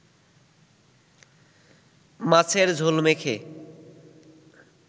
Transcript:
মাছের ঝোল মেখে